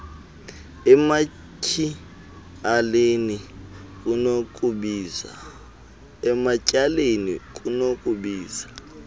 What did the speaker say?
ematy aleni kunokubiza